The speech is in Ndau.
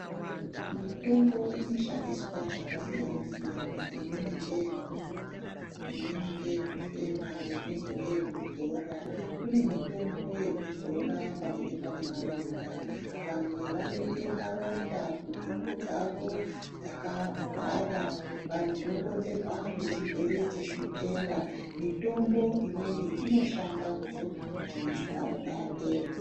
Mitombo inoshandiswa zvakasiyana siyana imweni ngeyokumwa imweni ngeyokufema imweni ngeyokudzora kjne mitombo yekuzora panenge paine maronda vamwe vanoite maronda kunhengo dzavo dzakahwara dzinokonzerwa nechirwere chechukera, mitombo imweni inoshanda kudzodzwa kuti maronda apere.